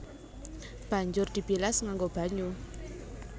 Banjur dibilas nganggo banyu